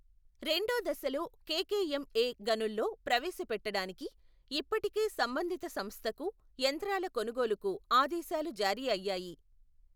రెండో దశలో కె.కె.ఎం.ఎ గనుల్లో ప్రవేశపెట్టడానికి, ఇప్పటికే సంబంధిత సంస్థకు, యంత్రాల కొనుగోలుకు ఆదేశాలు జారీ అయ్యాయి.